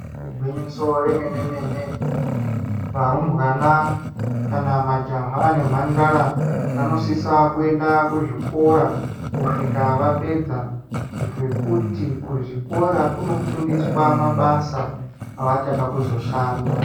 Igwinyiso remene-mene, varumbwana kana majaha nemhandara vanosisa kuenda kuzvikora kusvika vapedza, ngekuti kuzvikora kunofundiswa mabasa avachada kuzoshanda.